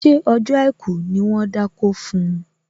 Ṣé ọjọ́ àìkú ni wón dákó fun?